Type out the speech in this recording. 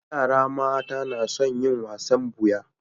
Yara mata na son yin wasan buya